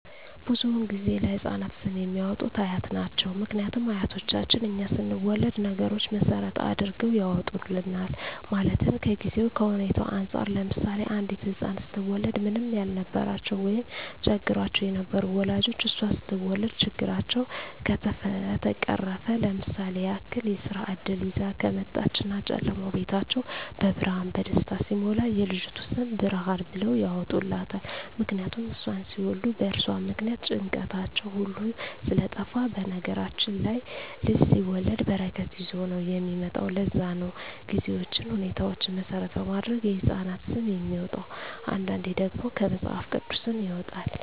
ብዙዉን ጊዜ ለህፃናት ስም የሚያወጡት አያት ናቸዉ ምክንያቱም አያቶቻችን እኛ ስንወለድ ነገሮች መሰረት አድርገዉ ያወጡልናል ማለትም ከጊዜዉ ከሁኔታዉ እንፃር ለምሳሌ አንዲት ህፃን ስትወለድ ምንም ያልነበራቸዉ ወይም ቸግሯቸዉ የነበሩ ወላጆቿ እሷ ስትወለድ ችግራቸዉ ከተፈቀረፈ ለምሳሌ ያክል የስራ እድል ይዛ ከመጣች እና ጨለማዉ ቤታቸዉ በብርሃን በደስታ ሲሞላ የልጅቱ ስም ብርሃን ብለዉ ያወጡላታል ምክንያቱም እሷን ሲወልዱ በእርሷ ምክንያት ጭንቀታቸዉ ሁሉ ስለጠፍ በነገራችን ላይ ልጅ ሲወለድ በረከት ይዞ ነዉ የሚመጣዉ ለዛ ነዉ ጊዜዎችን ሁኔታዎች መሰረት በማድረግ የህፃናት ስም የሚወጣዉ አንዳንዴ ደግሞ ከመፅሀፍ ቅዱስም ይወጣል